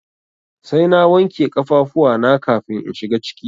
Sai na wanke kafafuwa na kafin in shiga ciki.